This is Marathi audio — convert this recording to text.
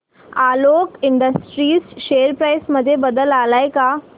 आलोक इंडस्ट्रीज शेअर प्राइस मध्ये बदल आलाय का